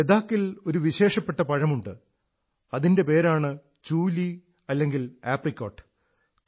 ലഡാഖിൽ ഒരു വിശേഷപ്പെട്ട പഴമുണ്ട് അതിന്റെ പേരാണ് ചൂലീ അല്ലെങ്കിൽ ആപ്രിക്കോട്ട്